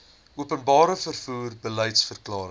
openbare vervoer beliedsverklaring